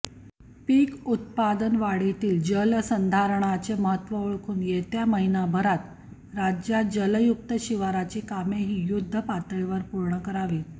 पीक उत्पादन वाढीतील जलसंधारणाचे महत्त्व ओळखून येत्या महिन्याभरात राज्यात जलयुक्त शिवारची कामेही युद्धपातळीवर पूर्ण करावीत